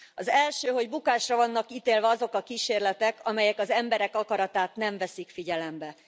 Az első, hogy bukásra vannak ítélve azok a kísérletek, amelyek az emberek akaratát nem veszik figyelembe.